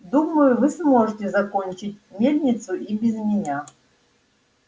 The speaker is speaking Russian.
думаю вы сможете закончить мельницу и без меня